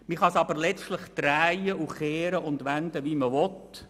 Letztlich kann man es jedoch drehen und wenden wie man will: